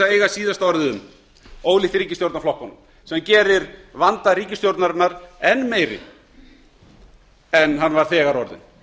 að eiga síðasta orðið um ólíkt ríkisstjórnarflokkunum sem gerir vanda ríkisstjórnarinnar enn meiri en hann var þegar orðinn